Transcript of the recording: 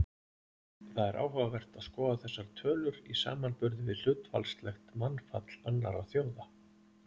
Það er áhugavert að skoða þessar tölur í samanburði við hlutfallslegt mannfall annarra þjóða.